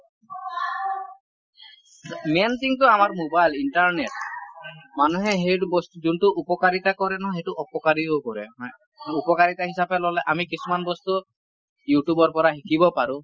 main thing টো আমাৰ mobile , internet মানুহে সেইটো বস্তু যোনটো উপকাৰিতা কৰে নহয় সেইটো অপকাৰীও কৰে । উপকাৰিতা হিচাপে ললে আমি কিছুমান বস্তু youtube ৰ পৰা শিকিব পাৰো ।